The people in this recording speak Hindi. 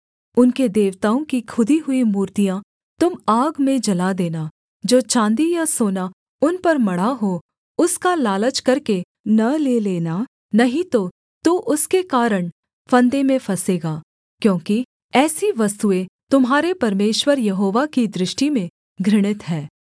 उनके देवताओं की खुदी हुई मूर्तियाँ तुम आग में जला देना जो चाँदी या सोना उन पर मढ़ा हो उसका लालच करके न ले लेना नहीं तो तू उसके कारण फंदे में फँसेगा क्योंकि ऐसी वस्तुएँ तुम्हारे परमेश्वर यहोवा की दृष्टि में घृणित हैं